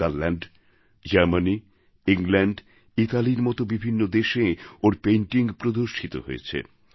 নেদারল্যান্ডসহ Germany England Italyর মত বিভিন্ন দেশে ওঁর Paintingপ্রদর্শিত হয়েছে